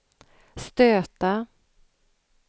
stöta